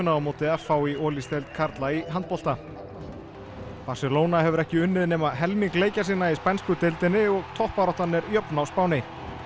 á móti f h í Olís deild karla í handbolta Barcelona hefur ekki unnið nema helming leikja sinna í spænsku deildinni og toppbaráttan er jöfn á Spáni